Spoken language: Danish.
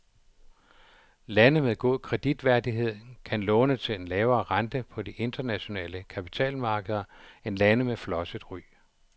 Lande med god kreditværdighed kan låne til en lavere rente på de internationale kapitalmarkeder end lande med flosset ry.